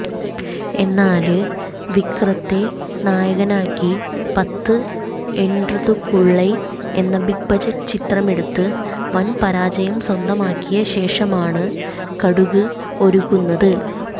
എന്നാല് വിക്രത്തെ നായകനാക്കി പത്ത് എന്ട്രുതുക്കുള്ളൈ എന്ന ബിഗ് ബഡ്ജറ്റ് ചിത്രമെടുത്ത് വന് പരാജയം സ്വന്തമാക്കിയ ശേഷമാണ് കടുഗ് ഒരുക്കുന്നത്